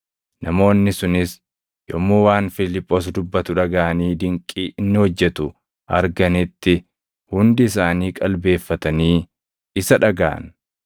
Namoonni sunis yommuu waan Fiiliphoos dubbatu dhagaʼanii dinqii inni hojjetu arganitti hundi isaanii qalbeeffatanii isa dhagaʼan.